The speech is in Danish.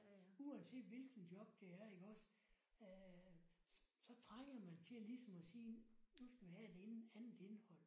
Uanset hvilken job det er iggås øh så trænger man til ligesom at sige nu skal vi have et inde andet indhold